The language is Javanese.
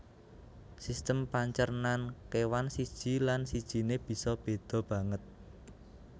Sistem pancernan kéwan siji lan sijiné bisa béda banget